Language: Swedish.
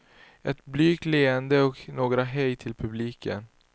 Ett blygt leende och några hej till publiken.